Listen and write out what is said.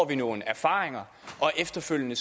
vi nogle erfaringer og efterfølgende